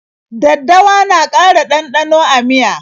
Daddawa na ƙara ɗanɗano a miya.